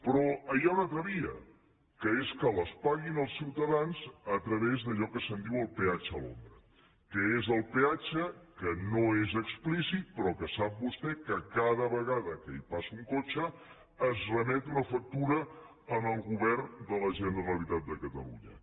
però hi ha una altra via que és que les paguin els ciutadans a través d’allò que se’n diu el peatge a l’ombra que és el peatge que no és explícit però que sap vostè que cada vegada que hi passa un cotxe es remet una factura al govern de la generalitat de catalunya